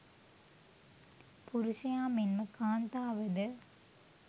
පුරුෂයා මෙන්ම කාන්තාව ද